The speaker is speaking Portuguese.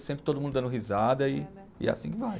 E sempre todo mundo dando risada e, e é assim que vai.